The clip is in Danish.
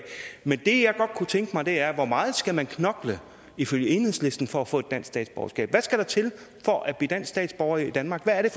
men det jeg godt kunne tænke mig at høre er hvor meget skal man ifølge enhedslisten knokle for at få et dansk statsborgerskab hvad skal der til for at blive statsborger i danmark hvad er det